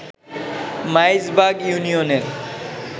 মাইজবাগ ইউনিয়নের